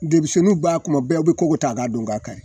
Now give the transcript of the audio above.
Denmisenninw b'a kuma bɛɛ u be kogo ta ka don k'a kari.